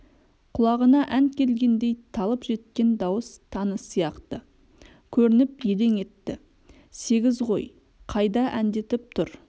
құлағына ән келгендей талып жеткен дауыс таныс сияқты көрініп елең етті сегіз ғой қайда әндетіп тұр